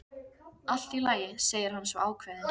Allt í lagi, segir hann svo ákveðinn.